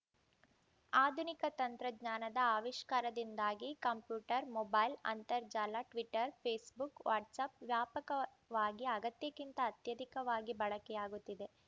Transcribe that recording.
ಆಧುನಿಕ ತಂತ್ರಜ್ಞಾನದ ಆವಿಷ್ಕಾರದಿಂದಾಗಿ ಕಂಪ್ಯೂಟರ್‌ ಮೊಬೈಲ್‌ ಅಂತರ್ಜಾಲ ಟ್ವಿಟರ್‌ ಫೇಸ್‌ಬುಕ್‌ ವಾಟ್ಸ್‌ಅಪ್‌ ವ್ಯಾಪಕವಾಗಿ ಅಗತ್ಯಕ್ಕಿಂತ ಅತ್ಯಧಿಕವಾಗಿ ಬಳಕೆಯಾಗುತ್ತಿದೆ